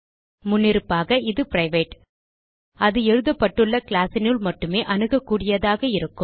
முன்னிருப்பாக இது பிரைவேட் அது எழுதப்பட்டுள்ள classனுள் மட்டுமே அணுகக்கூடியதாக இருக்கும்